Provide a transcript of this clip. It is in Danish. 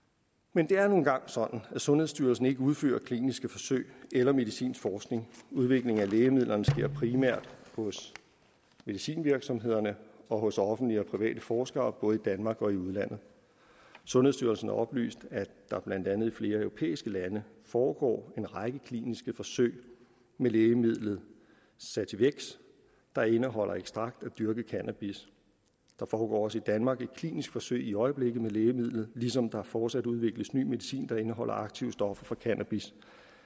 men det er nu engang sådan at sundhedsstyrelsen ikke udfører kliniske forsøg eller medicinsk forskning udvikling af lægemidler sker primært hos medicinvirksomhederne og hos offentlige og private forskere både i danmark og i udlandet sundhedsstyrelsen oplyste at der blandt andet i flere europæiske lande foregår en række kliniske forsøg med lægemidlet sativex der indeholder ekstrakt af dyrket cannabis der foregår også i danmark et klinisk forsøg i øjeblikket med lægemidlet ligesom der fortsat udvikles ny medicin der indeholder aktivstoffer for cannabis